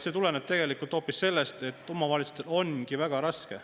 See tuleneb tegelikult hoopis sellest, et omavalitsustel ongi väga raske.